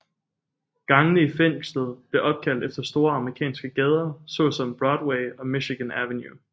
Gangene i fængslet blev opkaldt efter store amerikanske gader såsom Broadway og Michigan Avenue